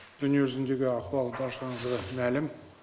дүние жүзіндегі ахуал баршаңызға мәлім